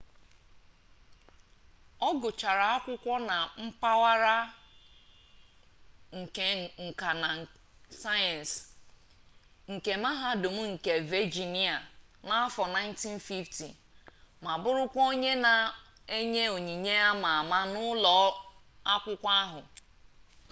ọ gụchara akwụkwọ na mpaghara nke nka na sayensị nke mahadum nke vejinia n'afo 1950 ma bụrụkwa onye na enye onyinye ama ama n'ụlọ akwụkwọ ahụ